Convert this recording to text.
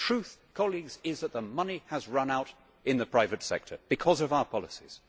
The truth, colleagues, is that the money has run out in the private sector because of our policies.